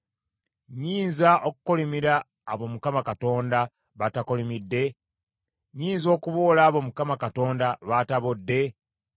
Nnyinza okukolimira abo Katonda batakolimidde? Nnyinza okuboola abo Mukama Katonda baatabodde?